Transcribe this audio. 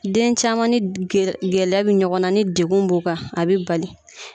Den caman ni gɛlɛya bi ɲɔgɔn na ni degun b'u kan a bi bali.